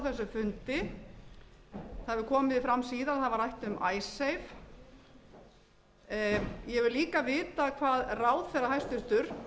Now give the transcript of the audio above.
þessum fundi það hefur komið fram síðar að það var rætt um icesave ég vil líka vita hvað ráðherrann hæstvirtur